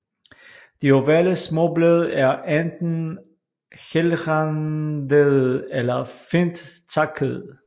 De ovale småblade er enten helrandede eller fint takkede